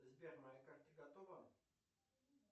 сбер моя карта готова